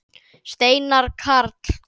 Steinar Karl.